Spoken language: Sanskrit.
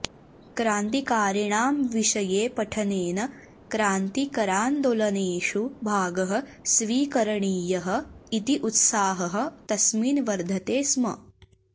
क्रान्तिकारिणां विषये पठनेन क्रान्तिकरान्दोलनेषु भागः स्वीकरणीयः इति उत्साहः तस्मिन् वर्धते स्म